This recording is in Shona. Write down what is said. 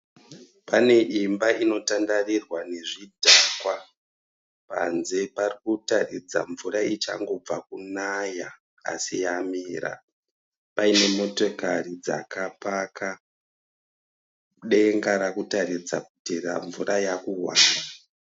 Pane imba inotandarirwa nezvidhakwa ,panze pari kuratidza mvura ichangobva kunaya asi yamira ,paine motokari dzakamira, denga richiratidza kuti mvura yava kuuya